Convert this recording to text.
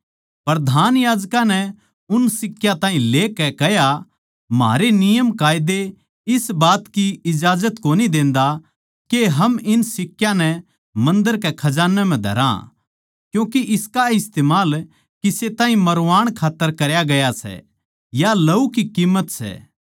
प्रधान याजकां नै उन सिक्का ताहीं लेकै कह्या म्हारे नियमकायदे इस बात की इजाजत कोनी देंदा के हम इन सिक्कयां नै मन्दर के खजान्ने म्ह धरा क्यूँके इसका इस्तमाल किसे ताहीं मारवाण खात्तर करया गया सै या लहू की किम्मत सै